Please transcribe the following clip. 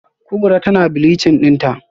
Kubra tana bleaching dinta?